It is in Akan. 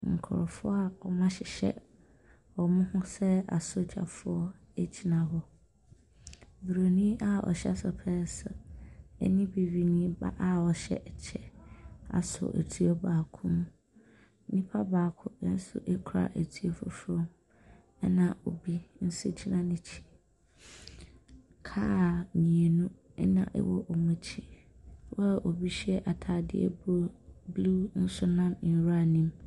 Nkurɔfoɔ a wɔahyehyɛ wɔn ho sɛ asogyafoɔ gyina hɔ. Buroni a ɔhyɛ sopɛɛse ne bibini ba a ɔhyɛ kyɛ asɔ etuo baako mu. Nipa baako nso kura etuo foforɔ, ɛnna obi nso gyina n'akyi. Kaa mmienu na ɛwɔ wɔn akyi a obi hyɛ atadeɛ blue blue nso nam nwuram no mu.